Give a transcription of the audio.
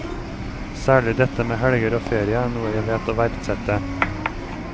Særlig dette med helger og ferie er noe jeg vet å verdsette.